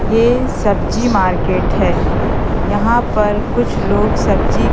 ये सब्जी मार्केट हैं यहां पर कुछ लोग सब्जी--